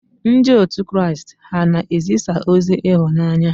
Ndị otu Kraịst ha na-ezisa ozi ịhụnanya?